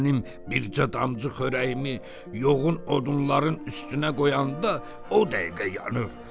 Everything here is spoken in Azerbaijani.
Mənim bircə damcı xörəyimi yoğun odunların üstünə qoyanda o dəqiqə yanır.